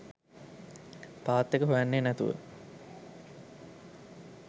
පාත් එක හොයන්නේ නැතුව